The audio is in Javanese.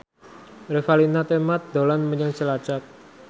Revalina Temat dolan menyang Cilacap